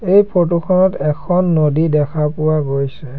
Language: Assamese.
এই ফৰ্টোখনত এখন নদী দেখা পোৱা গৈছে।